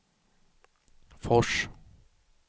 Fors